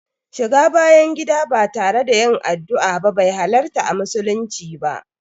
Shiga bayan gida ba tare da yin addua ba be halarta a musulunci ba.